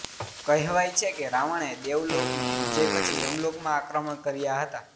કહેવાય છે કે રાવણએ દેવલોકની વિજય પછી યમલોકમાં આક્રમણ કર્યા હતા